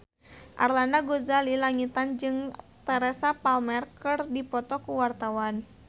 Arlanda Ghazali Langitan jeung Teresa Palmer keur dipoto ku wartawan